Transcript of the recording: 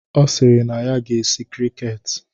Ọ sịrị na ya ga-eshi krịket